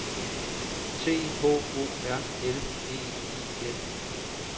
T H O R L E I F